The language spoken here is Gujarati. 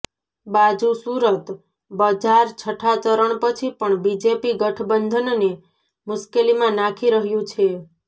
બાજુ સૂરત બજાર છઠ્ઠા ચરણ પછી પણ બીજેપી ગઠબંધનને મુશ્કેલીમાં નાખી રહ્યુ છે